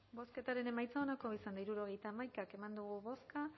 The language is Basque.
bozketaren emaitza onako izan da hirurogeita hamaika eman dugu bozka